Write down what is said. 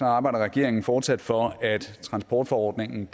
arbejder regeringen fortsat for at transportforordningen